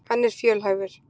Hann er fjölhæfur.